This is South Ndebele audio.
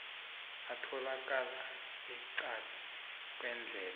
atholakala eqadi kwendlela